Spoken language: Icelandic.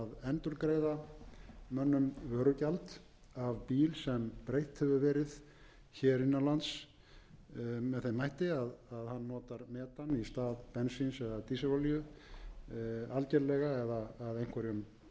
endurgreiða mönnum vörugjald af bíl sem breytt hefur verið innan lands með þeim hætti að hann notar metan í stað bensíns eða dísilolíu algerlega eða að einhverjum